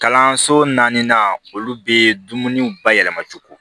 Kalanso naaninan olu bɛ dumuniw bayɛlɛma cogo